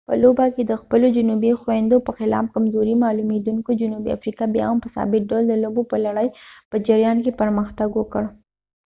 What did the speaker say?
په لوبه کې د خپلو جنوبي خویندو په خلاف کمزورې معلومیدونکې جنوبي افریقا بیا هم په ثابت ډول د لوبو په لړۍ په جریان کې پرمختګ وکړ